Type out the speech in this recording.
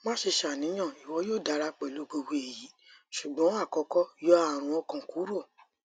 maṣe ṣàníyàn iwọ yoo dara pẹlu gbogbo eyi ṣugbọn akọkọ yọ arun ọkàn kuro